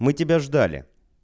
мы тебя ждали